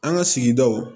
An ka sigidaw